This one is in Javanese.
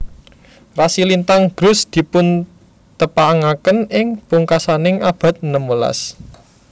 Rasi lintang Grus dipuntepangaken ing pungkasaning abad enem welas